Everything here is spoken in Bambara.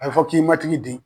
A bɛ fɔ k'i matigi de